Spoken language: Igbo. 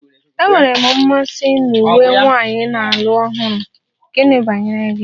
Enwere m mmasị na uwe nwanyị na-alụ ọhụrụ, gịnị banyere gị?